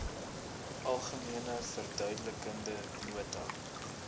algemene verduidelikende nota